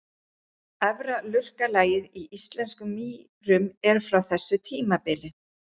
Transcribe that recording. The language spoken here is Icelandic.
Efra lurkalagið í íslenskum mýrum er frá þessu tímabili.